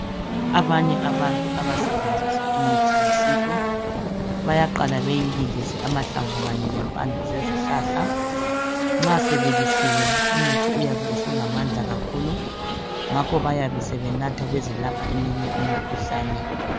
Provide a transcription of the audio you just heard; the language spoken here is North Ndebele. Abanye abantu abasebenzisa imithi yesintu bayaqala beyibilise amahlamvu kanye lempande zezihlahla nxa sebilisiwe umuthi uyabe usulamandla kakhulu ngakho bayabe sebenatha bezelapha eminye imikhuhlane.